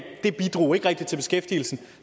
bidrog ikke rigtig til beskæftigelsen